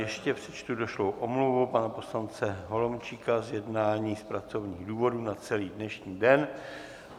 Ještě přečtu došlou omluvu pana poslance Holomčíka z jednání z pracovních důvodů na celý dnešní den.